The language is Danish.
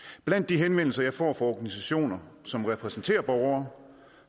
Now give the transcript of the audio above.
blandt de henvendelser jeg får fra organisationer som repræsenterer borgere